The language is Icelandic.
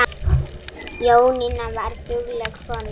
Jónína var dugleg kona.